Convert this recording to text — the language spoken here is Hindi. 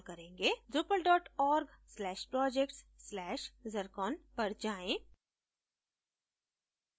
drupal org/projects/zircon पर जायें